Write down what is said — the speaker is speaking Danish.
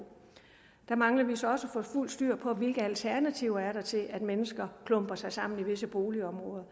der mangler vi så også at få fuldt styr på hvilke alternativer der er til at mennesker klumper sig sammen i visse boligområder